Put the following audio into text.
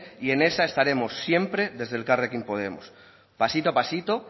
y esa estaremos siempre desde elkarrekin podemos pasito a pasito